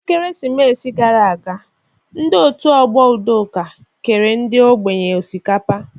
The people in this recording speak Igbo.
N'ekeresimesi gara aga, ndị Òtù Ọgbọ Udoka kere ndị ogbenye osikapa.